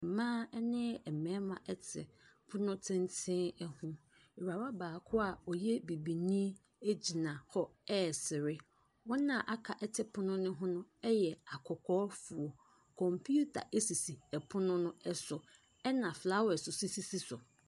Mmaa ne mmarima te pono tenten ho, awuraba baako a ɔyɛ bibini gyina hɔ ɛresere, wɔn a aka te pono ne ho no yɛ akɔkɔɔfoɔ. Computer sisi pono no so na flowers nso sisi so.